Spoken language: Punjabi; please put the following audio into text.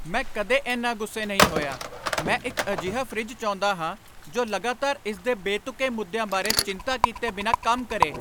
ਮੈਂ ਕਦੇ ਇੰਨਾ ਗੁੱਸੇ ਨਹੀਂ ਹੋਇਆ। ਮੈਂ ਇੱਕ ਅਜਿਹਾ ਫਰਿੱਜ ਚਾਹੁੰਦਾ ਹਾਂ ਜੋ ਲਗਾਤਾਰ ਇਸ ਦੇ ਬੇਤੁਕੇ ਮੁੱਦਿਆਂ ਬਾਰੇ ਚਿੰਤਾ ਕੀਤੇ ਬਿਨਾਂ ਕੰਮ ਕਰੇ!